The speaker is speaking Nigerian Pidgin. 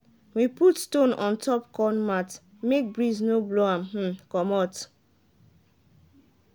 we put stone on top corn mat make breeze no blow am um comot.